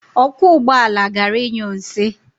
Ọkwọ ụgbọala gara ịnyụ nsị.